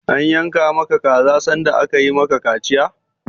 An yanka ma ka kaza sanda aka yi ma ka kaciya?